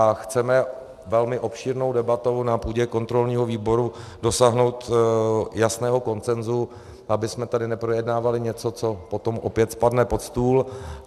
A chceme velmi obšírnou debatou na půdě kontrolního výboru dosáhnout jasného konsenzu, abychom tady neprojednávali něco, co potom opět spadne pod stůl.